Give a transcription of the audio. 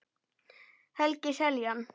Helgi Seljan